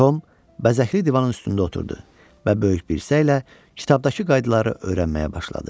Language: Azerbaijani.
Tom bəzəkli divanın üstündə oturdu və böyük bir səylə kitabdakı qaydaları öyrənməyə başladı.